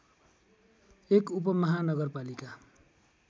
एक उपमहानगरपालिका